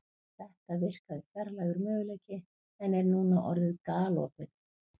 Þetta virkaði fjarlægur möguleiki en er núna orðið galopið.